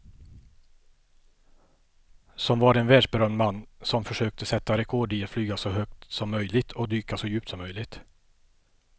Som var en världsberömd man som försökte sätta rekord i att flyga så högt som möjligt och dyka så djupt som möjligt.